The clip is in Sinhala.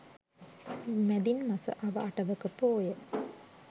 මැදින් මස අව අටවක පෝය